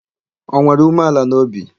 O nwere umeala n'obi?